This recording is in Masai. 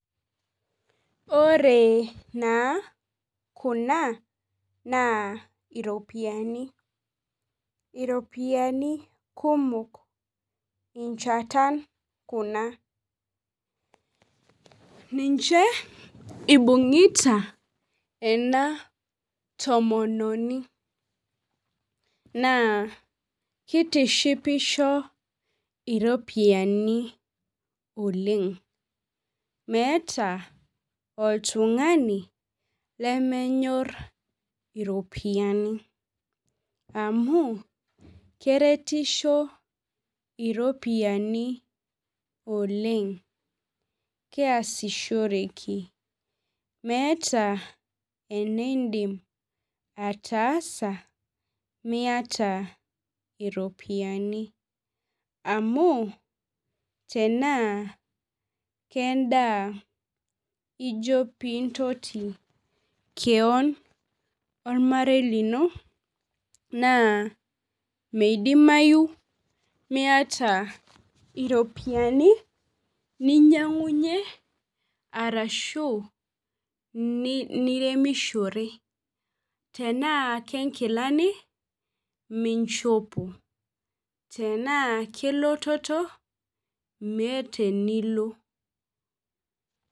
Ore naa kuna naa iropiyiani, iropiyiani kumok nchatan kuna ninche ibung'ita ena tomononi naa kitishipisho iropiyiani oleng' meeta oltung'ani lemenyorr iropiyaini amu keretisho iropiyaini oleng' kiasishoreki meeta eniidim ataasa miata iropiyiani amu tenaa kendaa ijo pee intoti keon ormarei lino naa midimayu miata iropiyiani ninyiang'unyie arashu niremishore tenaa kenkilani mishopo tenaa kelototo meeta enilo.